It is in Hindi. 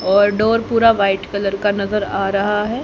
और डोअर पूरा वाइट कलर का नजर आ रहा है।